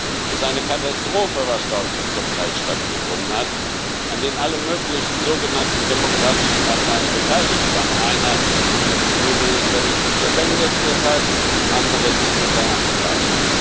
Es ist eine Katastrophe, was dort zum Teil stattgefunden hat, an der alle möglichen sogenannten demokratischen Parteien beteiligt waren einer der Premierminister ist deshalb im Gefängnis, andere sind unter Anklage.